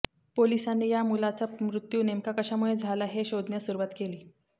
पोलिसांनी या मुलाचा मृत्यू नेमका कशामुळे झाला हे शोधण्यास सुरुवात केली